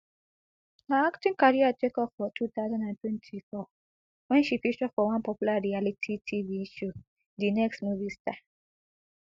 her acting career take off for two thousand and twenty-four wen she feature for one popular tv reality show di next movie star